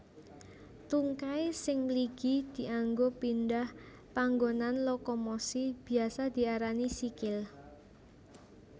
Tungkai sing mligi dianggo pindhah panggonan lokomosi biasa diarani sikil